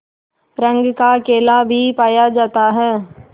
रंग का केला भी पाया जाता है